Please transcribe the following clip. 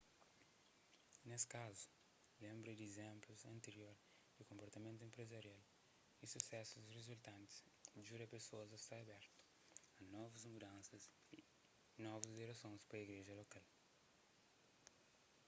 nes kazu lenbra di izénplus antiror di konportamentu enprezarial y susesus rizultantis djuda pesoas a sta abertu a novus mudansas y novus diresons pa igreja lokal